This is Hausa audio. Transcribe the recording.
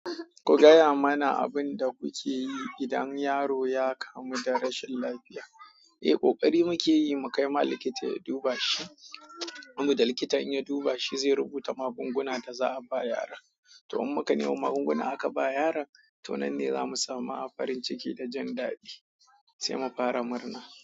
Ku gaya mana abin da kuke yi idan yaro ya kamu da rashin lafiya. Eh, ƙoƙari muke yi mu kai ma likita ya duba shi. Saboda likitan in ya duba shi, zai rubuta magungunan da za'a ba yara. To, in muka nemi magunguna aka ba yara, to nan ne za mu samu farin ciki da jandadi, sai mu fara murna.